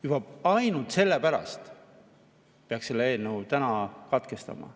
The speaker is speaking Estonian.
Juba ainult selle pärast peaks selle eelnõu täna katkestama.